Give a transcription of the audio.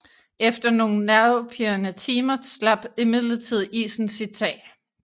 Efter nogen nervepirrende timer slap imidlertid isen sit tag